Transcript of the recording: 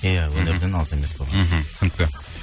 иә өнерден алыс емес болған мхм түсінікті